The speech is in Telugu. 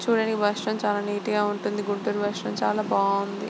చూడడానికి బస్టాండ్ చాలా నీట్ గా ఉంటుంది గుంటూరు బస్టాండ్ చాలా బాగుంది.